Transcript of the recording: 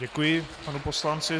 Děkuji panu poslanci.